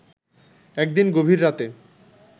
একদিন গভীর রাতে